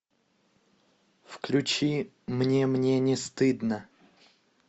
включи мне мне не стыдно